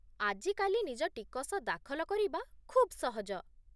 ଆଜି କାଲି ନିଜ ଟିକସ ଦାଖଲ କରିବା ଖୁବ୍ ସହଜ